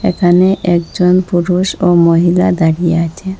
এখানে একজন পুরুষ ও মহিলা দাঁড়িয়ে আছেন।